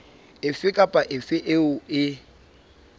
efe kapa efe eo e